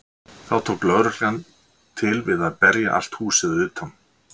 Þá tók lögreglan til við að berja allt húsið að utan.